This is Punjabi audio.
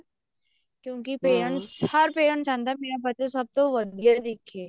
ਕਿਉਂਕਿ parents ਹਰ parents ਚਾਹੁੰਦਾ ਮੇਰਾ ਬੱਚਾ ਸਭ ਤੋਂ ਵਧੀਆ ਦਿਖੇ